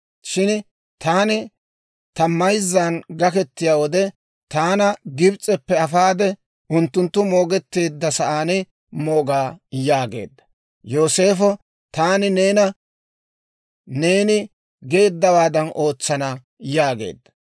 Shin taani ta mayzzan gaketiyaa wode, taana Gibs'eppe afaade, unttunttu moogetteedda sa'aan mooga» yaageedda. Yooseefo, «Taani neena neeni geeddawaadan ootsana» yaageedda.